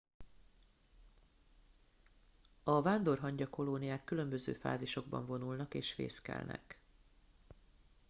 a vándorhangya kolóniák különböző fázisokban vonulnak és fészkelnek